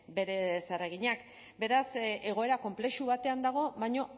bere zereginak beraz egoera konplexu batean dago baina